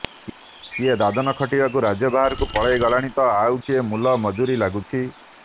କିଏ ଦାଦନ ଖଟିବାକୁ ରାଜ୍ୟ ବାହାରକୁ ପଳାଇଗଲାଣି ତ ଆଉ କିଏ ମୁଲମଜୁରୀ ଲାଗୁଛି